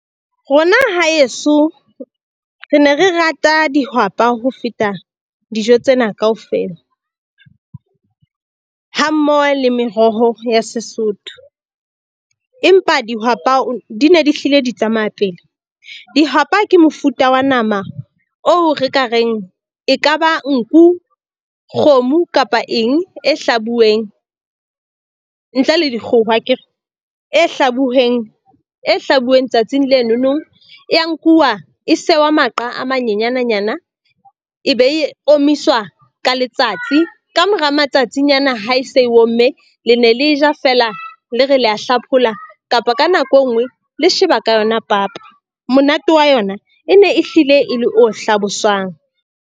Rona haeso, re ne re rata dihwapa ho feta dijo tsena kaofela ha mmoho le meroho ya Sesotho. Empa dihwapa di ne di hlile di tsamaya pele. Dihwapa ke mofuta wa nama oo re ka reng e kaba nku, kgomo kapa eng e hlabuweng ntle le dikgoho akere? E hlabuweng e hlabuweng tsatsing leno nong e ya nkuwa e sewa maqa a manyenyananyana e be e omiswa ka letsatsi. Ka mora matsatsing ana ha e se e omme le ne le ja fela le re la hlaphola kapa ka nako e nngwe le sheba ka yona papa. Monate wa yona e ne e hlile e le o hlaboswang.